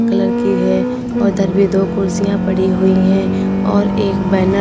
colour की है और इधर भी दो कुर्सियां पड़ी हुई हैं और एक बैनर --